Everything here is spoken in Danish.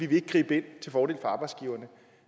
vil gribe ind til fordel for arbejdsgiverne